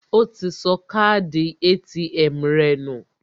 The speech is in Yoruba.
Ó ti sọ káàdì ATM rẹ̀ nù